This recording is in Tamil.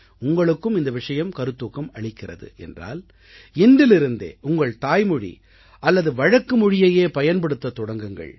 உங்களுக்கும் இந்த விஷயம் கருத்தூக்கம் அளிக்கிறது என்றால் இன்றிலிருந்தே உங்கள் தாய்மொழி அல்லது வழக்கு மொழியையே பயன்படுத்தத் தொடங்குங்கள்